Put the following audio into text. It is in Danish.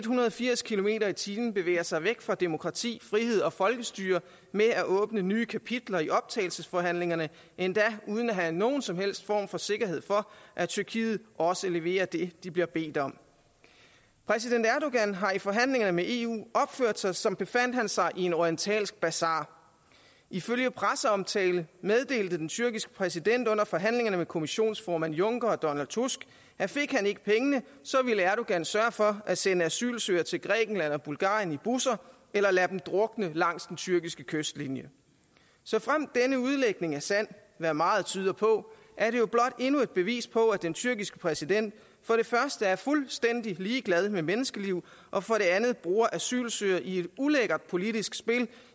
hundrede og firs kilometer per time bevæger sig væk fra demokrati frihed og folkestyre med at åbne nye kapitler i optagelsesforhandlingerne endda uden at have nogen som helst form for sikkerhed for at tyrkiet også leverer det de bliver bedt om præsident erdogan har i forhandlingerne med eu opført sig som befandt han sig i en orientalsk basar ifølge presseomtalte meddelte den tyrkiske præsident under forhandlingerne med kommissionsformand juncker og donald tusk at fik han ikke pengene ville erdogan sørge for at sende asylansøgere til grækenland og bulgarien i busser eller lade dem drukne langs den tyrkiske kystlinje såfremt denne udlægning er sand hvad meget tyder på er det jo blot endnu et bevis på at den tyrkiske præsident for det første er fuldstændig ligeglad med menneskeliv og for det andet bruger asylansøgere i et ulækkert politisk spil